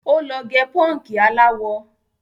Ó lọ gẹ pọ́ǹkì aláwọ.